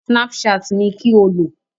Snapchat ni kí o lò!